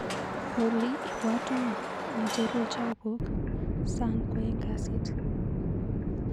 Olly, ibwatwa acheruu chapuk sang kwaeng' kasit.